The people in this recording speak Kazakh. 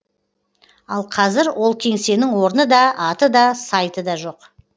ал қазір ол кеңсенің орны да аты да сайты да жоқ